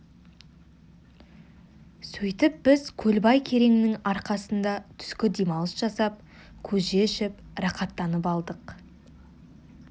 сөйтіп біз көлбай кереңнің арқасында түскі демалыс жасап көже ішіп рақаттанып қалдық